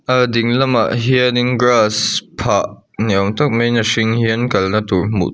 a dinglamah hian in grass phah ni awm tak mai in a hring hian kalna tur hmuh--